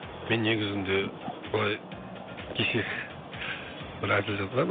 мен негізінде былай кеше бір әзіл жазғанмын